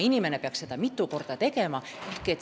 Inimene ei pea seda enam mitu korda tegema.